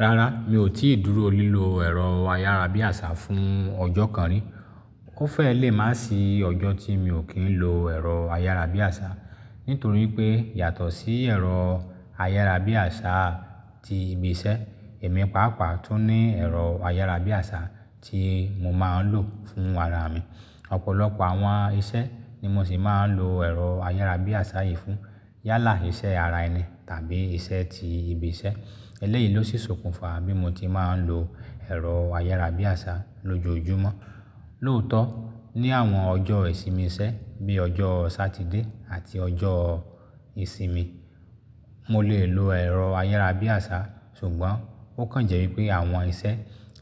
Rárá, mi ò tíì dúró lílo ẹ̀rọ ayárabíàṣá fún ọjọ́ kan rí. Ó fẹ́ lè má sì ọjọ́ tí mi ò kí ń lo ẹ̀rọ ayárabíàṣá. Nítorí pé yàtọ̀ sí ẹ̀rọ ayárabíàṣá ti ibi iṣẹ́, èmi pàápàá tún ní ẹ̀rọ ayárabíàṣá tí mo máa ń lò fún ara mi. Ọ̀pọ̀lọpọ̀ àwọn iṣẹ́ ni mo sì máa ń lo ẹ̀rọ ayárabíàṣá yìí fún. Yálà iṣẹ́ ara ẹni tàbí iṣẹ́ ti ibi iṣẹ́. Eléyìí ló sì sokùn fa bí mo ti máa ń lo ẹ̀rọ ayárabíàṣá lójoojúmọ́. Lóòótọ́, ní àwọn ọjọ́ ìsinmi iṣẹ́ bí ọjọ́ Sátidé àti ọjọ́ ìsinmi, mo lè lo ẹ̀rọ ayárabíàṣá, ṣùgbọ́n ó kàn jẹ́ wípé àwọn iṣẹ́